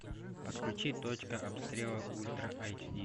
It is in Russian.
подключи точка обстрела ультра айч ди